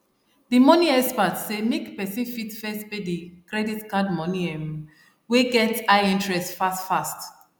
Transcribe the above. the money experts say make person first pay the credit card money um wey get high interest fast fast